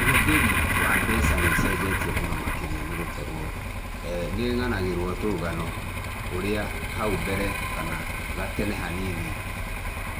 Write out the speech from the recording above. Ũhũthĩri wa mbeca nĩũcenjetie mũno makĩria nĩ gũkorwo nĩ ng'anagĩrwo tũrũgano ũrĩa hau mbere kana gatene hanini,